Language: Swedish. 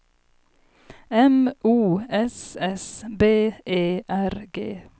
M O S S B E R G